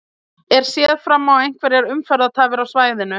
Er séð fram á einhverjar umferðartafir á svæðinu?